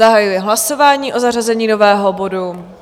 Zahajuji hlasování o zařazení nového bodu.